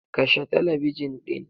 Kashe talabijin ɗin!